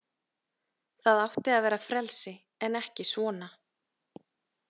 Það átti að vera frelsi en ekki svona.